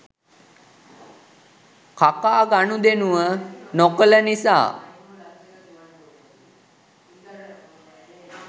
කකා ගණුදෙනුව නොකළ නිසා